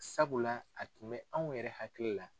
Sabula a tun bɛ anw yɛrɛ hakili la.